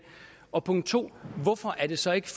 og punkt 2 hvorfor er det så ikke